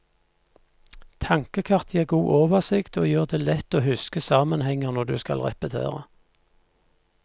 Tankekart gir god oversikt, og gjør det lett å huske sammenhenger når du skal repetere.